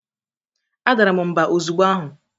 Adara m mba ozugbo ahụ.